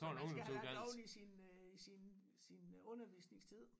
Som man skal have lagt oveni sin øh i sin sin undervisningstid